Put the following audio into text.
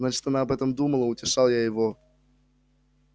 значит она об этом думала утешал я его